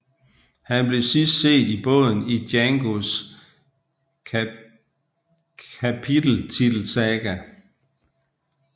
Han blev sidst set i båden i Djangos kapiteltitelsaga